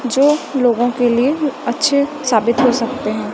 जो लोगों के लिए अच्छे साबित हो सकते हैं।